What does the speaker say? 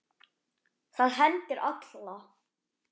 Það hendir alla